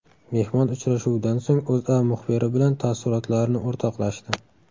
Mehmon uchrashuvdan so‘ng O‘zA muxbiri bilan taassurotlarini o‘rtoqlashdi .